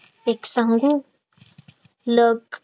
एक सांगू luck